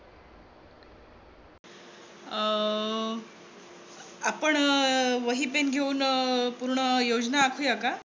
अह आपण वही पेन घेऊन पूर्ण योजना आखुया का?